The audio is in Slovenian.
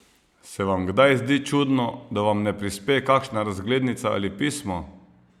Se vam kdaj zdi čudno, da vam ne prispe kakšna razglednica ali pismo?